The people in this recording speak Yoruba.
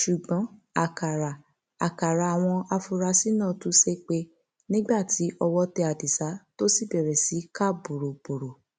ṣùgbọn àkàrà àkàrà àwọn afurasí náà tú sẹpẹ nígbà tí ọwọ tẹ adisa tó sì bẹrẹ sí í ká bọrọbọrọ